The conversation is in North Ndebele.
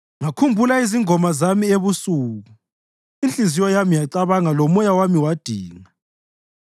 ngakhumbula izingoma zami ebusuku. Inhliziyo yami yacabanga lomoya wami wadinga: